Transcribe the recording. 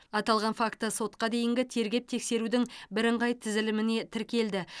аталған факті сотқа дейінгі тергеп тексерудің бірыңғай тізіліміне тіркелді